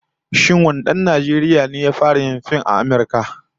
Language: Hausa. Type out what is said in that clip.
Shin wane dan Najeriya ne ya fara yin fim a Amurka?